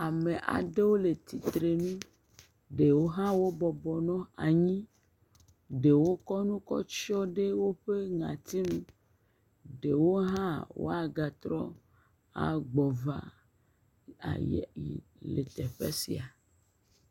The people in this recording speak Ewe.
Ame aɖewo le tsitre nu, ɖewo hã wobɔbɔ nɔ anyi, ɖewo tsɔ nu kɔ tsyɔ ɖe woƒe ŋɔti nu, ɖewo hã woagate agbɔ va a ayi teƒe sia.